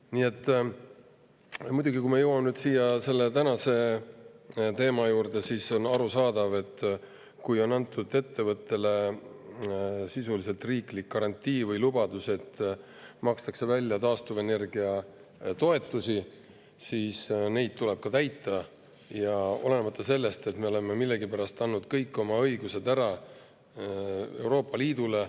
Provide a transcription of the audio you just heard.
Nii et muidugi – ma jõuan nüüd tänase teema juurde – on arusaadav, et kui on antud ettevõttele sisuliselt riiklik garantii või lubadus, et makstakse taastuvenergia toetust, siis seda tuleb täita, olenemata sellest, et me oleme millegipärast andnud kõik oma õigused ära Euroopa Liidule.